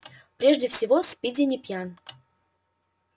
прежде всего спиди не пьян